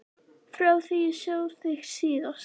Frá því ég sá þig síðast.